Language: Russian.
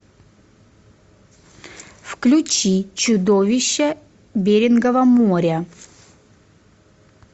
включи чудовища берингова моря